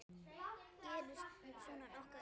Gerist svona nokkuð oft?